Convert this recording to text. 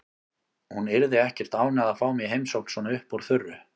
Hún yrði ekkert ánægð að fá mig í heimsókn svona upp úr þurru.